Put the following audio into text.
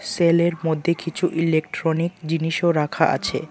সেলের মধ্যে কিছু ইলেকট্রনিক জিনিসও রাখা আছে।